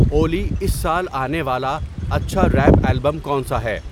اولی اس سال آنے والا اچھا ریپ البم کون سا ہے